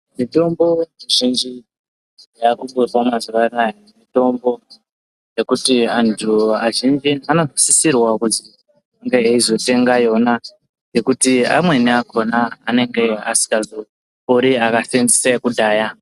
Mitombo mizhinji yakutorwa mazuwa anaya, mitombo yekuti antu azhinji anosisirwa kuti ange eizotenga yona. Ngekuti amweni akhona anenge asingazopori akaseenzesa yekudhaya.